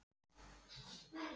Hvernig komstu hingað?